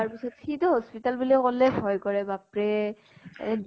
পিছত, সি তো hospital বুলি কʼলে হয় কৰে । বাপৰে এ